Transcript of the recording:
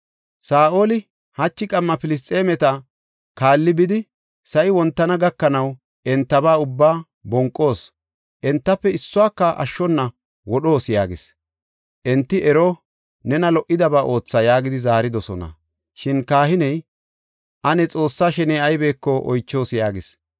Saa7oli, “Hachi qamma Filisxeemeta kaalli, bidi sa7i wontana gakanaw entaba ubbaa bonqos; entafe issuwaka ashshona wodhoos” yaagis. Enti, “Ero, nena lo77idaba ootha” yaagidi zaaridosona. Shin kahiney, “Ane Xoossaa sheney aybeko oychoos” yaagis.